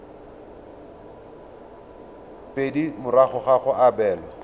pedi morago ga go abelwa